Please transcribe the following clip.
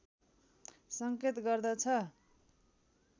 संकेत गर्दछ